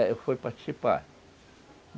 Eu fui participar.